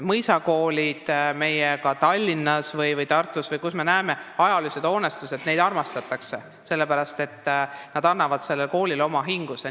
Mõisakoole ning Tallinna või Tartu ajaloolisi koolihooneid armastatakse, sest need hooned annavad koolile oma hinguse.